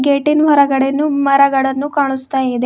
ಗೇಟಿನ್ ಹೊರಗಡೆನು ಮರಗಳನ್ನು ಕಾಣುಸ್ತಾ ಇದೆ.